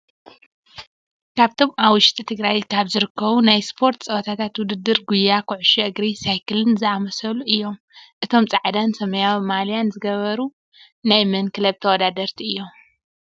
ካብቶም ኣብ ውሽጢ ትግራይ ካብ ዝርከቡ ናይ ስፖርት ፀወታ ውድድራት ጉያ ፣ኮዕሾ እግሪ፣ ሳይክልን ዝኣመሳሰሉ እዮም። እቶም ፃዕዳን ሰማያዊን ማልያ ዝገበሪ ናይ መን ክለብ ተወዳደርቲ እዮም?